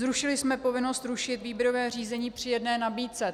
Zrušili jsme povinnost rušit výběrové řízení při jedné nabídce.